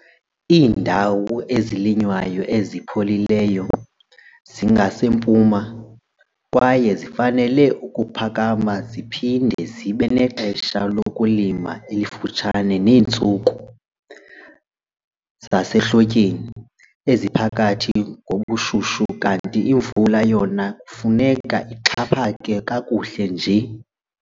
Iindawo ezilinywayo ezipholileyo zingasempuma, kwaye zifanele ukuphakama ziphinde zibe nexesha lokulima elifutshane neentsuku zasehlotyeni eziphakathi ngobushushu kanti imvula yona kufuneka ixhaphake kakuhle nje.